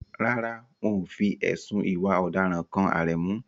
Rárá, wọn ò fi ẹ̀sùn ìwà ọ̀daràn kan Aremu.